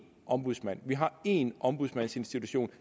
ombudsmand at vi har en ombudsmandsinstitution